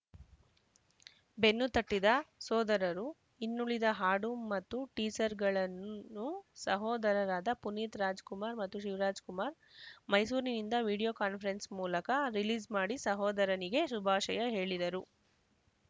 ಬೆನ್ನು ತಟ್ಟಿದ ಸೋದರರು ಇನ್ನುಳಿದ ಹಾಡು ಮತ್ತು ಟೀಸರ್‌ಗಳನ್ನು ಸಹೋದರರಾದ ಪುನೀತ್‌ ರಾಜ್‌ಕುಮಾರ್‌ ಮತ್ತು ಶಿವರಾಜ್‌ಕುಮಾರ್‌ ಮೈಸೂರಿನಿಂದ ವಿಡಿಯೋ ಕಾನ್ಫರೆನ್ಸ್‌ ಮೂಲಕ ರಿಲೀಸ್‌ ಮಾಡಿ ಸಹೋದರನಿಗೆ ಶುಭಾಶಯ ಹೇಳಿದರು